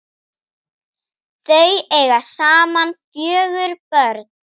Þau eiga saman fjögur börn.